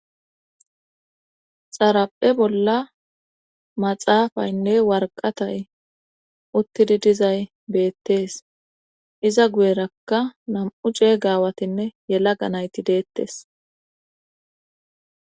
Xaraphe bolla maxaafaynne warqatay uttidi dizay beettees iza guyerakka nam7u cee gaawatinne yela ganayti deettes